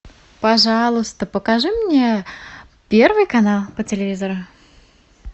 пожалуйста покажи мне первый канал по телевизору